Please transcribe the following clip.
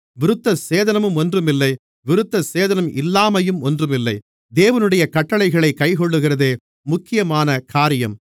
விருத்தசேதனமும் ஒன்றுமில்லை விருத்தசேதனம் இல்லாமையும் ஒன்றுமில்லை தேவனுடைய கட்டளைகளைக் கைக்கொள்ளுகிறதே முக்கியமான காரியம்